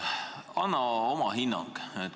Sa oled riigiaparaadis töötanud üsna kaua.